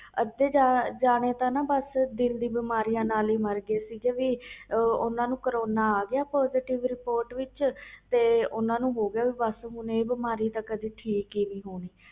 ਅੱਧੇ ਜਾਣੇ ਤਾ ਦਿਲ ਦੀਆ ਬਿਮਾਰੀਆਂ ਨਾਲ ਹੀ ਮਰ ਗਏ ਸੀ ਕਿਸੇ ਨੂੰ ਵੀ ਕਰੋਨਾ ਆ ਗਿਆ report ਵਿਚ ਤੇ ਓਹਨਾ ਨੂੰ ਹੋ ਗਿਆ ਬਸ ਬਿਮਾਰੀ ਤੇ ਠੀਕ ਹੀ ਨਹੀਂ ਹੋਣੀ